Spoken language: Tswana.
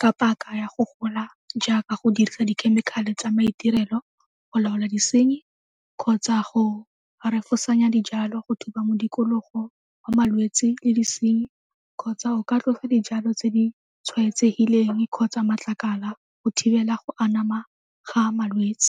ka paka ya go gola jaaka go dirisa dikhemikhale tsa maitirelo, go laola disenyi kgotsa go refosanya dijalo, go thuba mo modikologo wa malwetse le disenyi kgotsa o ka tlosa dijalo tse di tshwaetsegileng kgotsa matlakala go thibela go anama ga malwetse.